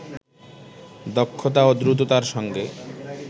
দক্ষতা ও দ্রুততার সঙ্গে